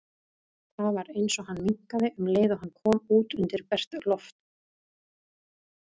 Það var eins og hann minnkaði um leið og hann kom út undir bert loft.